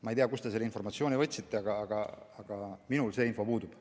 Ma ei tea, kust te selle informatsiooni võtsite, aga minul see info puudub.